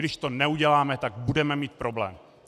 Když to neuděláme, tak budeme mít problém.